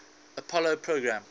apollo program